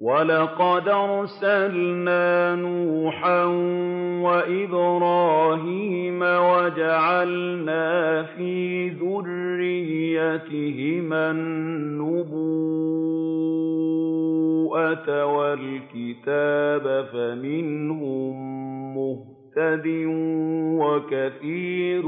وَلَقَدْ أَرْسَلْنَا نُوحًا وَإِبْرَاهِيمَ وَجَعَلْنَا فِي ذُرِّيَّتِهِمَا النُّبُوَّةَ وَالْكِتَابَ ۖ فَمِنْهُم مُّهْتَدٍ ۖ وَكَثِيرٌ